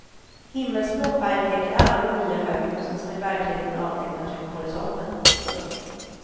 Himmelsblå färg täcker alla de nya höghusen som i verkligheten avtecknar sig mot horisonten. punkt